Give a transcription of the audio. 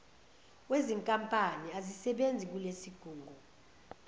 wezinkampani azisebenzi kulesigungu